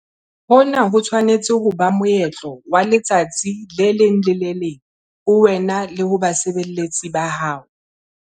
Hona ho tshwanetse ho ba moetlo wa letsatsi le leng le le leng ho wena le ho basebeletsi ba hao.